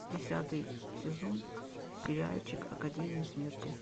десятый сезон сериальчик академия смерти